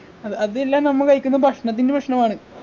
അത് അത് എല്ലാം നമ്മ കഴിക്കുന്ന ഭക്ഷണത്തിൻ്റെ പ്രശ്നമാണ്